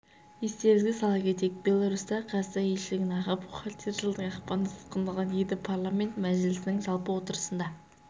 естеріңізге сала кетейік беларусьтағы қазақстан елшілігінің аға бухгалтері жылдың ақпанында тұтқындалған еді парламент мәжілісінің жалпы отырысында